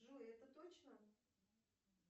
джой это точно